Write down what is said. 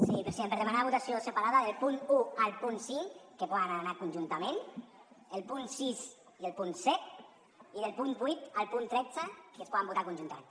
sí president per demanar votació separada del punt un al punt cinc que poden anar conjuntament el punt sis i el punt set i del punt vuit al punt tretze que es poden votar conjuntament